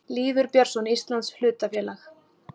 Lýður Björnsson: Íslands hlutafélag.